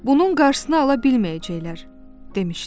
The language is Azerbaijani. Bunun qarşısını ala bilməyəcəklər, demişdi.